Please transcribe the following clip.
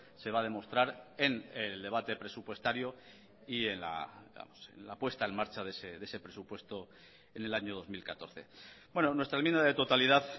se va a demostrar en el debate presupuestario y en la puesta en marcha de ese presupuesto en el año dos mil catorce nuestra enmienda de totalidad